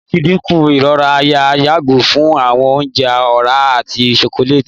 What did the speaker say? lati dinku irora àyà yago fun awọn ounjẹ ọra ati chocolate